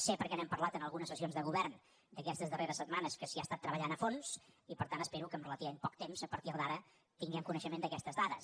sé perquè n’hem parlat en algunes sessions de govern d’aquestes darreres setmanes que s’hi ha treballat a fons i per tant espero que en relativament poc temps a partir d’ara tinguem coneixement d’aquestes dades